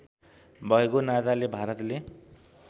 भएको नाताले भारतले